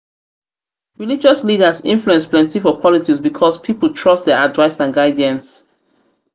religious leaders influence plenti for politics because pipol trust dia advice and guidance